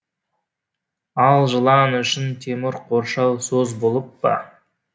ал жылан үшін темір қоршау сөз болып па